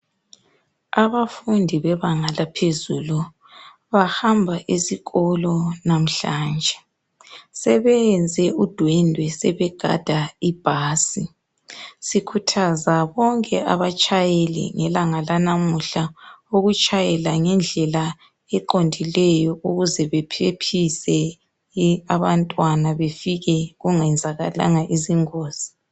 Abafundi bebanga laphezulu bahamba esikolo lamhlanje sebeyenze udwendwe sebegada ibhasi sikhuthaza bonke abatshayeli ngelanga lanamuhla ukutshayela ngendlela eqondileyo ukuze baphephise abantwana befike kungenzakalanga izingozi.